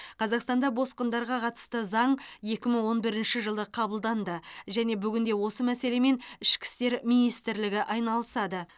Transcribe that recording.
қазақстанда босқындарға қатысты заң екі мың он бірінші жылы қабылданды және бүгінде осы мәселемен ішкі істер министрлігі айналысады